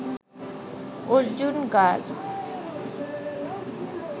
অর্জুন গাছ